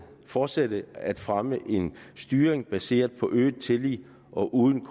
fortsat at fremme en styring baseret på øget tillid og uden